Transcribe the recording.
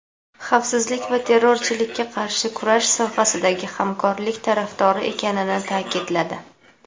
xavfsizlik va terrorchilikka qarshi kurash sohasidagi hamkorlik tarafdori ekanini ta’kidladi.